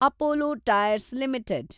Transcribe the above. Apollo Tyres limited